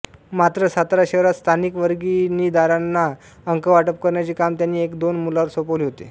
मात्र सातारा शहरात स्थानिक वर्गणीदारांना अंक वाटप करण्याचे काम त्यांनी एकदोन मुलांवर सोपवले होते